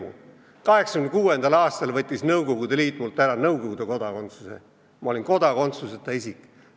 1986. aastal võttis Nõukogude Liit mult Nõukogude kodakondsuse ära, ma olin kodakondsuseta isik.